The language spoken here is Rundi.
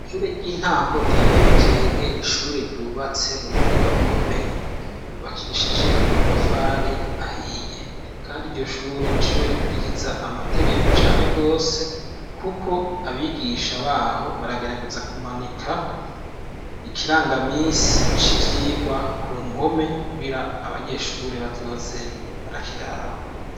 Ishure ry'intango rya Nyabikenke, n'ishure ryubatse mu buhinga bukomeye, ryubakishije amatafari ahiye, kandi iryo shure n'ishure rikwirikiza amategeko cane gose, kuko abigisha baho baragerageza kumanika ikirangamisi c'ivyigwa ku mpome, kugira abanyeshure bazoze marakiraba.